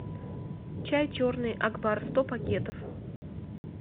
чай черный акбар сто пакетов